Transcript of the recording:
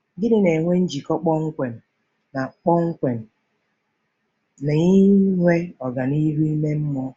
Gịnị na-enwe njikọ kpọmkwem na kpọmkwem na inwe ọganihu ime mmụọ?